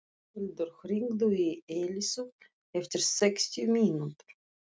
Pálhildur, hringdu í Elísu eftir sextíu mínútur.